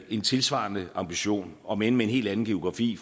en tilsvarende ambition omend med en helt anden geografi